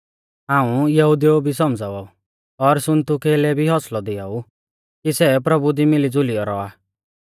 हाऊं यूओदिउ भी सौमझ़ावा ऊ और सुन्तुखे लै भी हौसलौ दियाऊ कि सै प्रभु दी मिलीज़ुलियौ रौआ